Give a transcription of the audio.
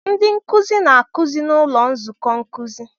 Ndị nkuzi na-akụzi n'ụlọ nzukọ nkuzi.